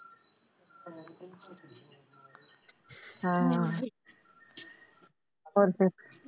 ਹਾਂ ਹੋਰ ਫਿਰ,